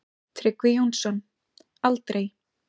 Tryggvi Jónsson: Aldrei.